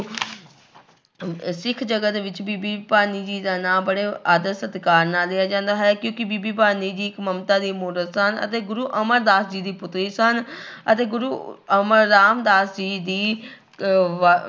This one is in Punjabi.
ਸਿੱਖ ਜਗਤ ਵਿੱਚ ਬੀਬੀ ਭਾਨੀ ਜੀ ਦਾ ਨਾਂਂ ਬੜੇ ਆਦਰ ਸਤਿਕਾਰ ਨਾਲ ਲਿਆ ਜਾਂਦਾ ਹੈ ਕਿਉਂਕਿ ਬੀਬੀ ਭਾਨੀ ਜੀ ਇੱਕ ਮਮਤਾ ਦੀ ਮੂਰਤ ਸਨ ਅਤੇ ਗੁਰੂ ਅਮਰਦਾਸ ਜੀ ਦੀ ਪੁੱਤਰੀ ਸਨ ਅਤੇ ਗੁਰੂ ਅਮਰ ਰਾਮਦਾਸ ਜੀ ਦੀ ਅਹ ਵ